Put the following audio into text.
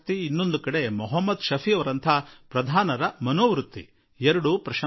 ಇನ್ನು ಮೊಹಮ್ಮದ್ ಶಫಿಯಂತಹ ಗ್ರಾಮ ಪಂಚಾಯಿತಿಯ ಅಧ್ಯಕ್ಷರನ್ನೂ ನೋಡಿ